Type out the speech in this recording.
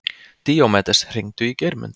Díómedes, hringdu í Geirmund.